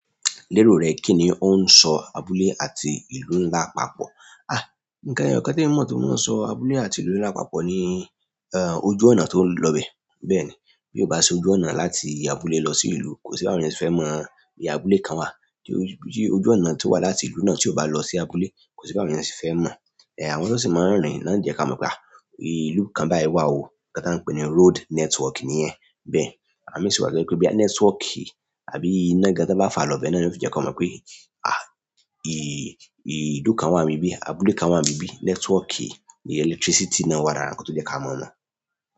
Lérò rẹ̀ kìíní ó ń sọ abúlé àti ìlú ńlá papọ̀. À, nǹkan kan tí mo mọ̀ tí wọ́n ń sọ abúlé àti ìlú ńlá papọ̀ ni, ehn, ojú ọ̀nà tó ń lọ bẹ. Bẹ́ẹ̀ ni, bí o bá ṣe ojú ọ̀nà láti abúlé lọ sí ìlú, kò sí báwọn èèyàn se fẹ́ mọ̀ bí i abúlé kan wà. Bí ojú ọ̀nà tó wà láti ìlú náà tí o bá lọ sí abúlé, kò sí báwọn èèyàn se fẹ́ mọ̀. Eh, àwọn tó sì máa ń rìn náà ni jẹ́ ká mọ̀ pé, à, ìlú kan bá ẹ wà o, ohun kan tán ń pè ní road network nìyẹn. Bẹ́ẹ̀ ni, à mí sì wà tó jẹ́ pé bóyá network àbí iná gan tán bá fà á lọ bẹ̀ náà ló fi jẹ́ kán mọ pé à i ìlú kan wà ń bibí abúlé kan wà ń bibí. Network ni electricity náà wà lára nǹkan tó jẹ́ ká mọ̀ mọ̀.